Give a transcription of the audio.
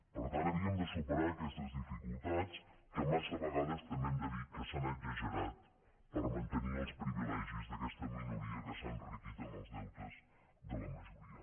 per tant havíem de superar aquestes dificultats que massa vegades també hem de dir que s’han exagerat per mantenir els privilegis d’aquesta minoria que s’ha enriquit amb els deutes de la majoria